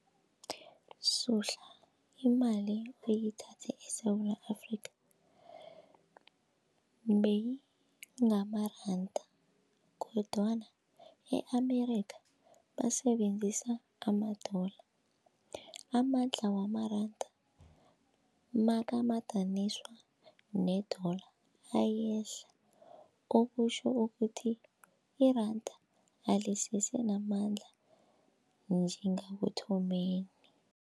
Suhla imali uyithathe eSewula Afrika beyingamaranda kodwana i-America basebenzisa amadola, amandla wamaranda nakamadaniswa nedola ayehla okutjho ukuthi iranda alisese namandla njengekuthomeni.